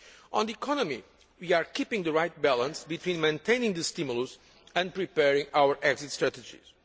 On the economy, we are keeping the right balance between maintaining the stimulus and preparing our exit strategies.